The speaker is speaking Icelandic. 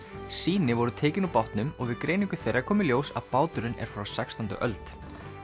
sýni voru tekin úr bátnum og við greiningu þeirra kom í ljós að báturinn er frá sextándu öld